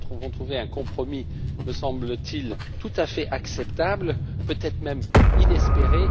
Nous avons trouvé un compromis me semble t il tout à fait acceptable, peut être même inespéré.